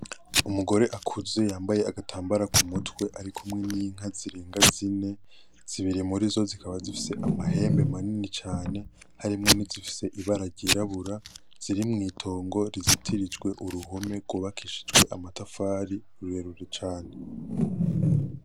Umugore akuze yambaye agatambara ku mutwe ari kumwe n'inka zirenga zine. Zibiri murizo zikaba zifise amahembe manini cane, harimwo n'izifise ibara ryirabura. Ziri mw'itongo rizitirijwe uruhome rwubakishijwe amatafari rurerure cane.